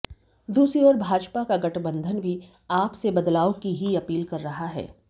दूसरी ओर भाजपा का गठबंधन भी आप से बदलाव की ही अपील कर रहा है